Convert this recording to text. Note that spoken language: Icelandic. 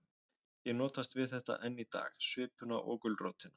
Ég notast við þetta enn í dag, svipuna og gulrótina.